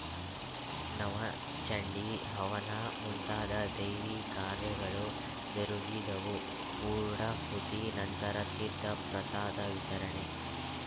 ನವಚಂಡಿ ಹವನ ಮುಂತಾದ ದೈವಿ ಕಾರ್ಯಗಳು ಜರುಗಿದವು ಪೂರ್ಣಾಹುತಿ ನಂತರ ತೀರ್ಥ ಪ್ರಸಾದ ವಿತರಣೆ